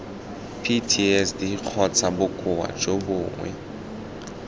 ptsd kgotsa bokoa jo bongwe